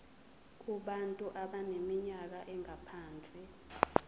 kubantu abaneminyaka engaphansi